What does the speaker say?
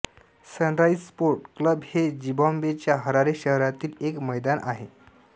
sunrise Sports Club हे झिम्बाब्वेच्या Harare शहरातील एक मैदान आहे